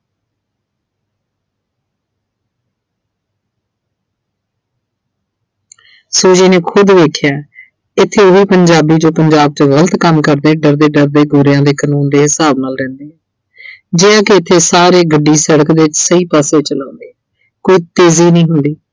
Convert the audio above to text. Suji ਨੇ ਖੁਦ ਵੇਖਿਆ, ਇੱਥੇ ਇਹ ਪੰਜਾਬੀ ਜੋ ਪੰਜਾਬ ਤੋਂ ਗਲਤ ਕੰਮ ਕਰਦੇ ਆ ਡਰਦੇ ਡਰਦੇ ਗੋਰਿਆਂ ਦੇ ਕਾਨੂੰਨ ਦੇ ਹਿਸਾਬ ਨਾਲ ਰਹਿੰਦੇ ਆ, ਜੋ ਕਿ ਇੱਥੇ ਸਾਰੇ ਗੱਡੀ ਸੜਕ ਦੇ ਸਹੀ ਪਾਸੇ ਚਲਾਉਂਦੇ ਆ, ਕੋਈ ਤੇਜ਼ੀ ਨੀ ਹੁੰਦੀ।